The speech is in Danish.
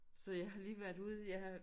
Så jeg har lige været ude jeg er